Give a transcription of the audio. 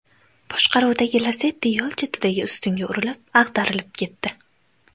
boshqaruvidagi Lacetti yo‘l chetidagi ustunga urilib, ag‘darilib ketdi.